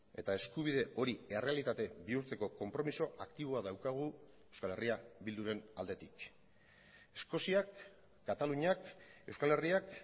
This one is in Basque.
eta eskubide hori errealitate bihurtzeko konpromiso aktiboa daukagu euskal herria bilduren aldetik eskoziak kataluniak euskal herriak